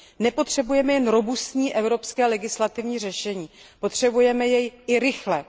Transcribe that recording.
Nepotřebujeme jen robustní evropské legislativní řešení, potřebujeme jej i rychle.